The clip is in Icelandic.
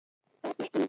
Verð ég engill?